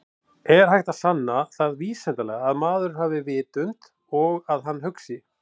Er hægt að sanna það vísindalega að maðurinn hafi vitund og að hann hugsi?